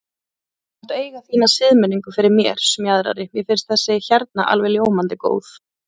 Þú mátt eiga þína siðmenningu fyrir mér, Smjaðri, mér finnst þessi hérna alveg ljómandi góð.